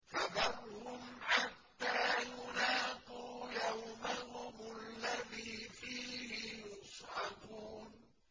فَذَرْهُمْ حَتَّىٰ يُلَاقُوا يَوْمَهُمُ الَّذِي فِيهِ يُصْعَقُونَ